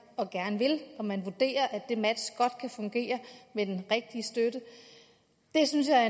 og gerne vil og man vurderer at det match godt kan fungere med den rigtige støtte det synes jeg er